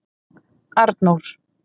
Arnór